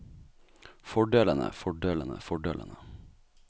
fordelene fordelene fordelene